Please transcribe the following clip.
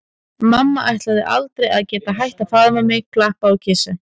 Mamma ætlaði aldrei að geta hætt að faðma mig, klappa og kjassa.